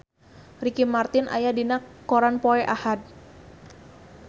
Ricky Martin aya dina koran poe Ahad